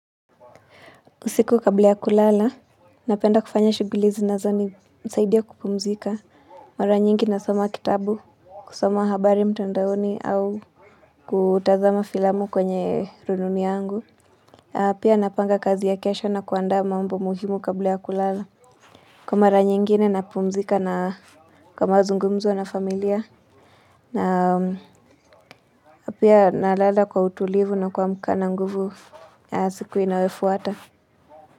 Usiku kabla ya kulala, napenda kufanya shuguli zinazo nisaidia kupumzika. Mara nyingi nasoma kitabu, kusoma habari mtandaoni au kutazama filamu kwenye rununi yangu. Pia napanga kazi ya kesho na kuandaa mambo muhimu kabla ya kulala. Kwa mara nyingine napumzika na kwa mazungumzo na familia. Na pia na lala kwa utulivu na kuamka na nguvu siku inayofuata.